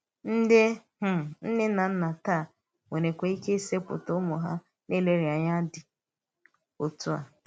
Ndí um nne na nna tàá nwèrèkwà ike isètị̀pụ̀ ụ́mụ́ ha ǹlérèànyà dị́ otú à.